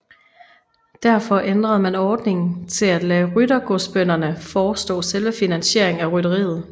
Derfor ændrede man ordningen til at lade ryttergodsbønderne forestå selve finansieringen af rytteriet